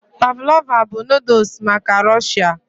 Pavlova bụ noodles maka Rọ̀shia